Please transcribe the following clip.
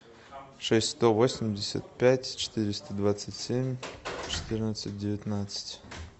шесть сто восемьдесят пять четыреста двадцать семь четырнадцать девятнадцать